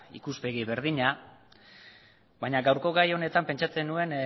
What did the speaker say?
ikuspegi berdina baina gaurko gai honetan pentsatzen nuen